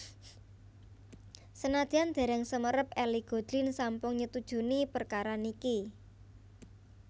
Senadyan dereng semerap Ellie Goulding sampun nyetujuni perkara niki